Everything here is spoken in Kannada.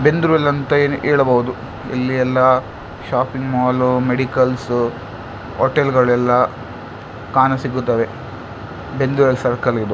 ಬೆಂದೂರ್ ವೆಲ್ ಅಂತ ಹೇಳಬಹುದು ಇಲ್ಲಿ ಎಲ್ಲ ಶಾಪಿಂಗ್ ಮಾಲ್ ಮೆಡಿಕಲ್ಸ್ ಹೋಟೆಲ್ಸ್ ಗಳೆಲ್ಲ ಕಾಣ ಸಿಗುತ್ತವೆ ಬೆಂದೂರ್ ವೆಲ್ ಸರ್ಕಲ್ ಇದು.